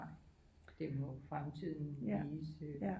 Nej det må fremtiden vise